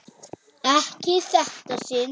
Ekki í þetta sinn.